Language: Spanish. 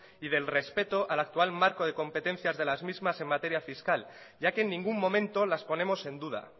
y del respeto al actual marco de competencias de las mismas en materia fiscal ya que en ningún momento las ponemos en duda